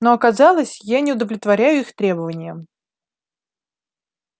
но оказалось я не удовлетворяю их требованиям